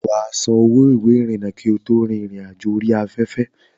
Wà á san owó ìwé ìrìnnà rẹ kí o tó rin ìrìn àjò orí afẹ́fẹ́.